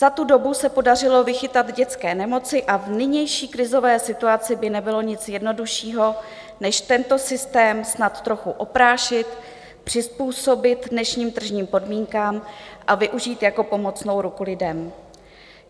Za tu dobu se podařilo vychytat dětské nemoci a v nynější krizové situaci by nebylo nic jednoduššího než tento systém snad trochu oprášit, přizpůsobit dnešním tržním podmínkám a využít jako pomocnou ruku lidem.